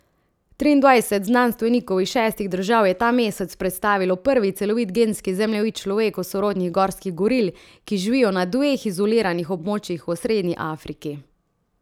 Triindvajset znanstvenikov iz šestih držav je ta mesec predstavilo prvi celovit genski zemljevid človeku sorodnih gorskih goril, ki živijo na dveh izoliranih območjih v osrednji Afriki.